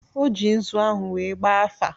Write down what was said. O ji nzu ahụ wee gbaa afa.